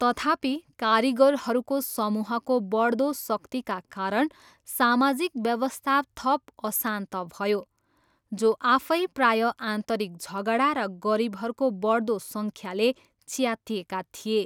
तथापि, कारिगरहरूको समूहको बढ्दो शक्तिका कारण सामाजिक व्यवस्था थप अशान्त भयो, जो आफै प्रायः आन्तरिक झगडा र गरिबहरूको बढ्दो सङ्ख्याले च्यातिएका थिए।